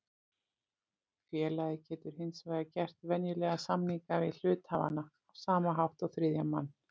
Félagið getur hins vegar gert venjulega samninga við hluthafana á sama hátt og þriðja mann.